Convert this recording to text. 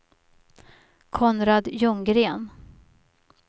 Konrad Ljunggren